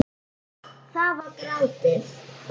Það var grátið!